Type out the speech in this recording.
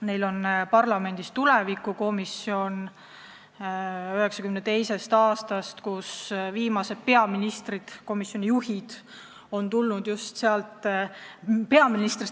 Neil on parlamendis 1992. aastast olemas tulevikukomisjon, mille viimastest juhtidest on saanud peaministrid.